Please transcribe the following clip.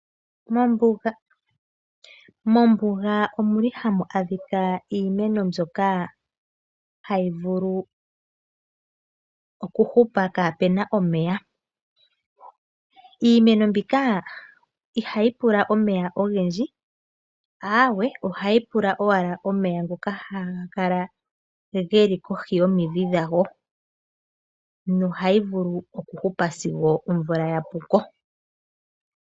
Mombuga omuli hamu adhika iimeno mbyoka hayi vulu oku hupa pwaana omeya. Iimeno mbika ihayi pula omeya ogendji, aawe ohayi pula owala omeya ngoka haga kala geli kohi yomidhi dhayo, nohayi vulu okuhupa sigo omvula ya puko.